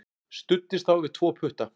Studdist þá við tvo putta.